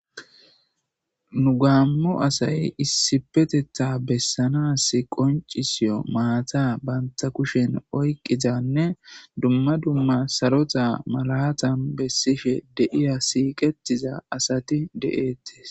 "Nu gaamo asay issippetetha beesanas qonccisiyo maata banta kushen oyiqqizanne dumma dumma sarota malatan besishe de7iya siiqetiza asati de7eetes."